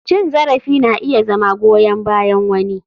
Cin zarafi na iya zama goyan bayan wani.